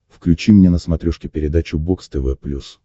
включи мне на смотрешке передачу бокс тв плюс